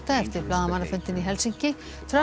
eftir blaðamannafundinn í Helsinki Trump